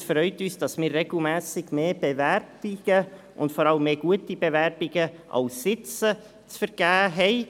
Es freut uns, dass wir regelmässig mehr Bewerbungen haben, vor allem mehr Bewerbungen als Sitze zu vergeben sind.